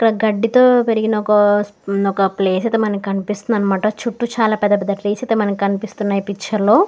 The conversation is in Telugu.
ఇక్కడ గడ్డితో పెరిగిన ఒక ప్లేస్ అయితే మనకి కనిపిస్తుంది అనమాట చుట్టూ పెద్ద పెద్ద ట్రీస్ అయితే కనిపిస్తున్నాయ్ మనకి పిక్చర్ లో.